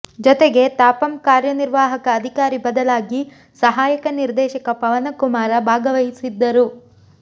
ಜೊತೆಗೆ ತಾಪಂ ಕಾರ್ಯನಿರ್ವಾಹಕ ಅಧಿಕಾರಿ ಬದಲಾಗಿ ಸಹಾಯಕ ನಿರ್ದೇಶಕ ಪವನಕುಮಾರ ಭಾಗವಹಿಸಿದ್ದರು